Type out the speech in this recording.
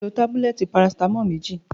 Toyin ti ló tébúlẹ̀tí pàrásitámọ̀l méji